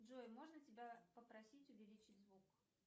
джой можно тебя попросить увеличить звук